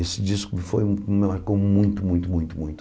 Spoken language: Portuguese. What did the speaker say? Esse disco foi me marcou muito, muito, muito, muito.